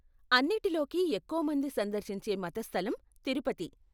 అన్నిటిలోకి ఎక్కువ మంది సందర్శించే మత స్థలం తిరుపతి.